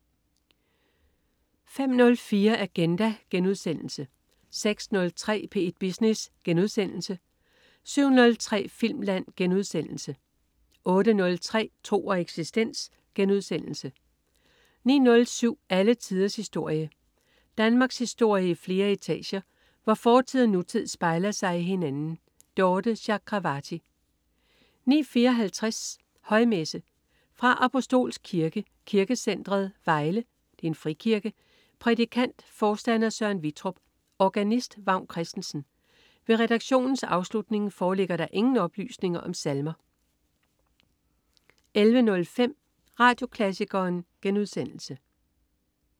05.04 Agenda* 06.03 P1 Business* 07.03 Filmland* 08.03 Tro og eksistens* 09.07 Alle tiders historie. Danmarkshistorie i flere etager, hvor fortid og nutid spejler sig i hinanden. Dorthe Chakravarty 09.54 Højmesse. Fra Apostolsk Kirke, Kirkecentret, Vejle (Frikirke). Prædikant: forstander Søren Vittrup. Organist: Vagn Christensen. Ved redaktionens afslutning foreligger der ingen oplysninger om salmer 11.05 Radioklassikeren*